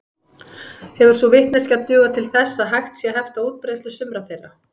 Hefur sú vitneskja dugað til þess að hægt sé að hefta útbreiðslu sumra þeirra.